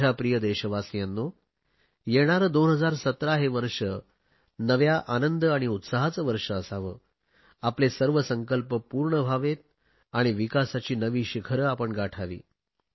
माझ्या प्रिय देशवासियांनो येणारे 2017 हे वर्ष नव्या आनंद आणि उत्साहाचे वर्ष असावे आपले सर्व संकल्प पूर्ण व्हावे आणि विकासाची नवी शिखरे आपण गाठावी